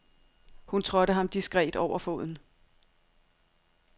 Hun trådte ham diskret over foden.